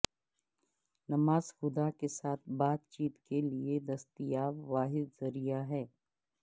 نماز خدا کے ساتھ بات چیت کے لئے دستیاب واحد ذریعہ ہے